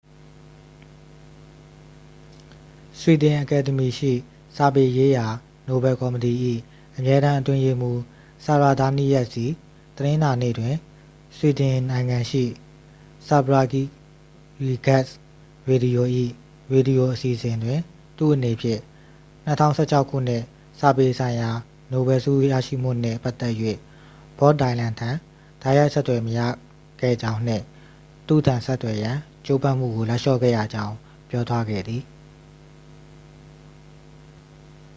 ဆွီဒင်အကယ်ဒမီရှိ စာပေရေးရာ နိုဗယ်ကော်မတီ၏ အမြဲတမ်း အတွင်းရေးမှူး ဆာရာဒါးနီးယပ်စ်သည် တနင်္လာနေ့တွင် ဆွီဒင်နိုင်ငံရှိ ဆဗာရီဂက်စ် ရေဒီယို၏ ရေဒီယို အစီအစဉ်တွင် သူ့အနေဖြင့် 2016 ခုနှစ် စာပေဆိုင်ရာ နိုဗယ်ဆုရရှိမှုနှင့် ပတ်သက်၍ ဘော့ဒိုင်လန်ထံ တိုက်ရိုက် ဆက်သွယ် မရခဲ့ကြောင်းနှင့် သူ့ထံ ဆက်သွယ်ရန် ကြိုးပမ်းမှုကို လက်လျှော့ခဲ့ရကြောင်း ပြောသွားခဲ့သည်